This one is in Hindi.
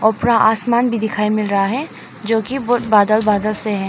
और पूरा आसमान भी दिखाई मिल रहा है जो कि वो बादल बादल से हैं।